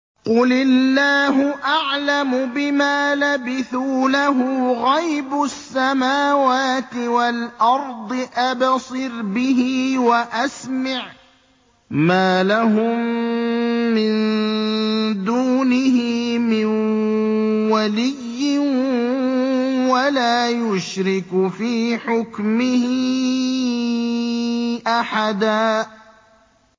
قُلِ اللَّهُ أَعْلَمُ بِمَا لَبِثُوا ۖ لَهُ غَيْبُ السَّمَاوَاتِ وَالْأَرْضِ ۖ أَبْصِرْ بِهِ وَأَسْمِعْ ۚ مَا لَهُم مِّن دُونِهِ مِن وَلِيٍّ وَلَا يُشْرِكُ فِي حُكْمِهِ أَحَدًا